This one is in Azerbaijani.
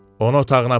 Onu otağına aparın.